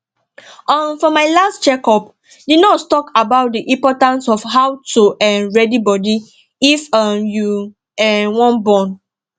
uhm for my last check up the nurse talk about the importance of how to um ready body if um you um wan born